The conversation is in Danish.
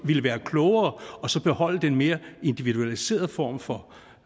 ville være klogere og så beholde den mere individualiserede form for